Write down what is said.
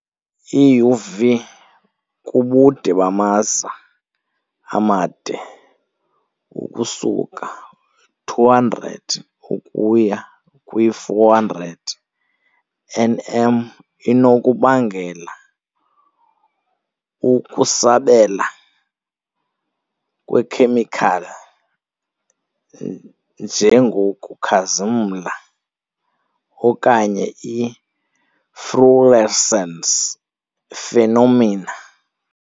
I-UV kubude bamaza amade, ukusuka - 200 ukuya kwi-400 nm, inokubangela ukusabela kweekhemikhali, njengokukhazimla okanye i-fluorescence phenomena.